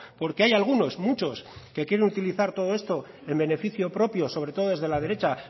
porque hay algunos muchos que quieren utilizar todo esto en beneficio propio sobre todo desde la derecha